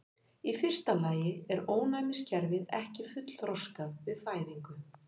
Í fyrsta lagi er ónæmiskerfið ekki fullþroskað við fæðingu.